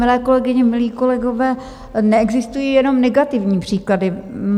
Milé kolegyně, milí kolegové, neexistují jenom negativní příklady.